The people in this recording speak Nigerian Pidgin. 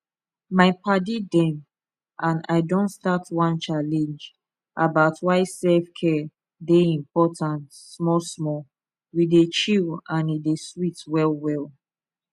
my padi dem and i don start one challenge about why selfcare dey important small small we dey chill and e dey sweet well well